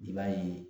I b'a ye